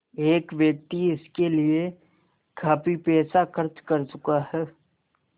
एक व्यक्ति इसके लिए काफ़ी पैसा खर्च कर चुका है